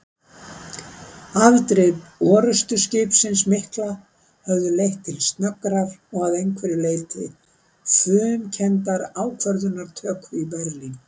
Afdrif orrustuskipsins mikla höfðu leitt til snöggrar og að einhverju leyti fumkenndrar ákvörðunartöku í Berlín.